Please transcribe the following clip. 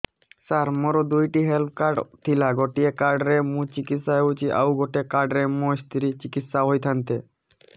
ସାର ମୋର ଦୁଇଟି health card ଥିଲା ଗୋଟେ କାର୍ଡ ରେ ମୁଁ ଚିକିତ୍ସା ହେଉଛି ଆଉ ଗୋଟେ କାର୍ଡ ରେ ମୋ ସ୍ତ୍ରୀ ଚିକିତ୍ସା ହୋଇଥାନ୍ତେ